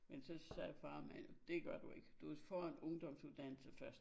Men så sagde Far Amalie dét gør du ikke du får en ungdomsuddannelse først